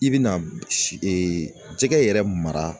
I bɛ na si jɛgɛ yɛrɛ mara